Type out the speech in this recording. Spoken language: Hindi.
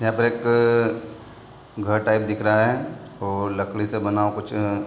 यहाँ पर एक घर टाइप दिख रहा है और लकड़ी से बना कुछ अ --